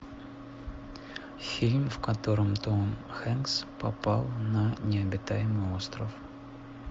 фильм в котором том хэнкс попал на необитаемый остров